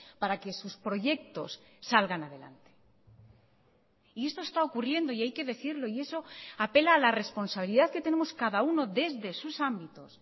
para que sus proyectos salgan adelante y esto está ocurriendo y hay que decirlo y eso apela a la responsabilidad que tenemos cada uno desde sus ámbitos